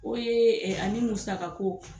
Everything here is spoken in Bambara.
O yee ani musaka ko